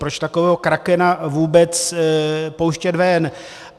Proč takového krakena vůbec pouštět ven?